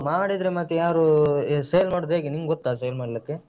ಮಾಡಿದ್ರೆ ಮತ್ತೆ ಯಾರು sale ಮಾಡುದು ಹೇಗೆ ನಿಂಗೊತ್ತಾ sale ಮಾಡ್ಲಿಕ್ಕೆ?